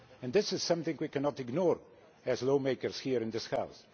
This is something we cannot ignore as lawmakers here in this House.